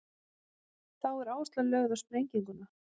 þá er áhersla lögð á sprenginguna